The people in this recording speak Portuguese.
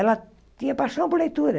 Ela tinha paixão por leitura.